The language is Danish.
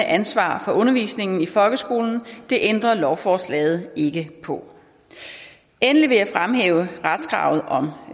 ansvar for undervisningen i folkeskolen og det ændrer lovforslaget ikke på endelig vil jeg fremhæve retskravet om